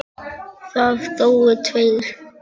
Það dóu tveir.